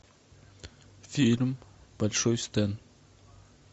фильм большой стэн